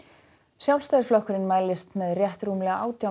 Sjálfstæðisflokkurinn mælist með rétt rúmlega átján